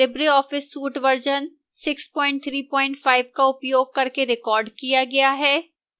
libreoffice suite version 635 का उपयोग करके रिकॉर्ड किया गया है